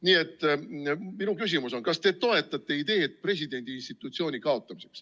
Nii et minu küsimus on, kas te toetate ideed presidendi institutsioon kaotada.